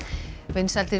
vinsældir